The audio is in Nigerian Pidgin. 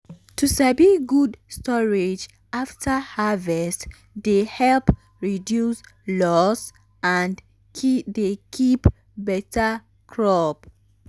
to sabi good storage after harvest dey help reduce loss and dey keep beta crop.